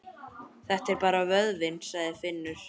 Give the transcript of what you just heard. Þetta er bara vöðvinn, sagði Finnur.